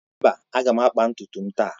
Mba, m ga-akpa ntutu m taa.